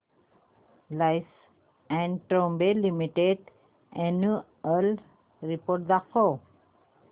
Larsen and टुर्बो Limited annual report दाखव